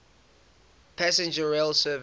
passenger rail service